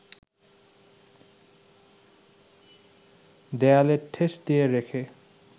দেয়ালে ঠেস দিয়ে রেখে